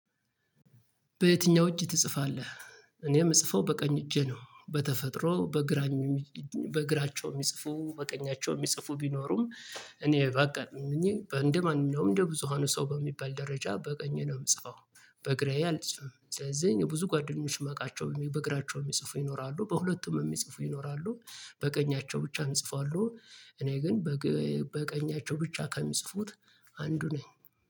በየትኛው እጅ ትጽፋለህ? እኔ የምጽፈው በቀኝ እጄ ነው። በተፈጥሮ በግራ በግራቸው የሚጽፉ በቀኛቸው የሚጽፉ ቢኖሩም። እኔ ባጋጥመኝ እንደማንኛውም እንደ ብዙሃኑ ሰው በሚባል ደረጃ በቀኜ ነው ምጽፈው። በግራዬ አልጽፍም ስለዚህ ብዙ ጓደኞች ማቃቸው በግራቸው የሚጽፉ ይኖራሉ። በሁለቱም የሚጽፉ ይኖራሉ። በቀኛቸው ብቻ ሚጽፉ አሉ። እኔ ግን በቀኛቸው ብቻ ከሚጽፉት አንዱ ነኝ።